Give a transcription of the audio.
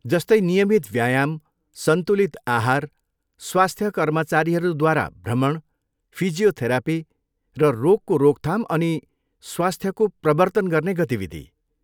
जस्तै नियमित व्यायाम, सन्तुलित आहार, स्वास्थ्य कर्मचारीहरूद्वारा भ्रमण, फिजियोथेरापी र रोगको रोकथाम अनि स्वास्थको प्रवर्तन गर्ने गतिविधि।